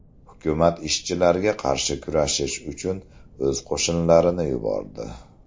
Hukumat ishchilarga qarshi kurashish uchun o‘z qo‘shinlarini yubordi.